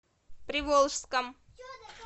приволжском